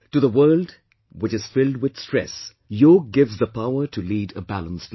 To the world which is filled with stress, Yog gives the power to lead a balanced life